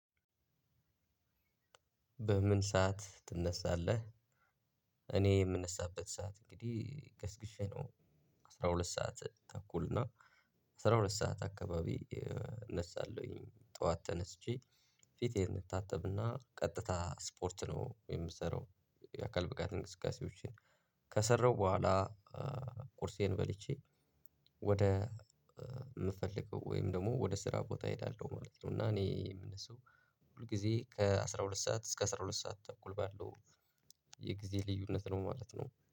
በምን ሰዓት ትነሳለህ? እኔ የምነሳበት ሰዓት እንግዲህ ገስግሼ ነው። አስራ ሁለት ሰዓት ተኩል እና አስራ ሁለት ሰዓት አካባቢ። እነሳለሁኝ ጠዋት ተነስቼ ፊቴን እንታጠብና ቀጥታ ስፖርት ነው የምሰራው። የአካል ብቃት እንቅስቃሴዎችን ከሰራሁ በኋላ ቁርሴን በልቼ ወደ የምፈልገው ወይም ደግሞ ወደ ስራ ቦታ እሄዳለሁ ማለት ነው። እና እኔ የምነሳው ሁል ጊዜ ከአስራ ሁለት ሰዓት እስከ አስራ ሁለት ሰዓት ተኩል ባለው የጊዜ ልዩነት ነው። ማለት ነው